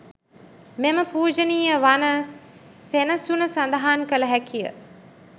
මෙම පූජනීය වන සෙනසුන සඳහන් කළ හැකිය.